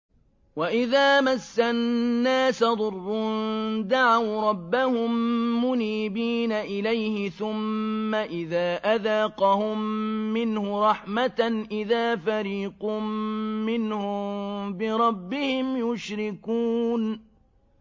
وَإِذَا مَسَّ النَّاسَ ضُرٌّ دَعَوْا رَبَّهُم مُّنِيبِينَ إِلَيْهِ ثُمَّ إِذَا أَذَاقَهُم مِّنْهُ رَحْمَةً إِذَا فَرِيقٌ مِّنْهُم بِرَبِّهِمْ يُشْرِكُونَ